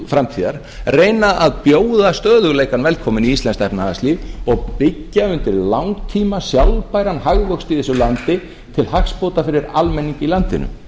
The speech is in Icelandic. framtíðar reyna að bjóða stöðugleikann velkominn í íslenskt efnahagslíf og byggja undir langtíma sjálfbæran hagvöxt í þessu landi til hagsbóta fyrir almenning í landinu